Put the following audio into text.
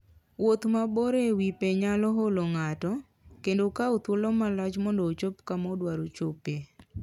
Wuoth mabor e wi pe nyalo olo ng'ato, kendo kawo thuolo malach mondo ochop kama odwaro chopoe.